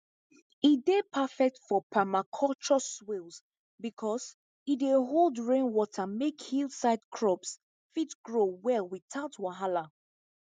e dey perfect for permaculture swales because e dey hold rainwater make hillside crops fit grow well without wahala